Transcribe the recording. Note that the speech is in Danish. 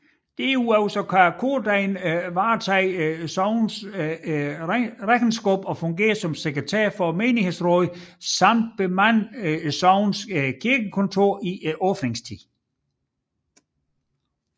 Derudover kan kordegnen varetage sognets regnskab og fungere som sekretær for menighedsrådet samt bemande sognets kirkekontor i åbningstiden